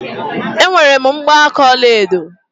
Enwere m mgbaaka ọlaedo.